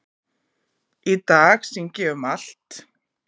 Í dag syng ég um allt